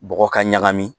Bɔgɔ ka ɲagami